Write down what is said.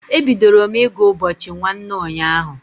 E bidoro m ị gụ ụbọchị nwanne ụnyaahụ.